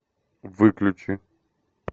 выключи